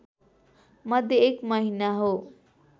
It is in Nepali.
मध्ये एक महिना हो